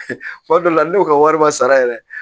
Kuma dɔ la ne y'o ka wari ma sara yɛrɛ